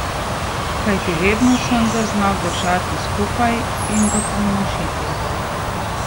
Kajti vedno sem ga znal držati skupaj in ga pomnožiti.